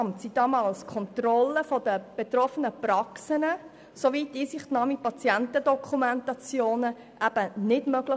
Damals war die Kontrolle der betroffenen Praxen durch das Kantonsarztamt nicht möglich.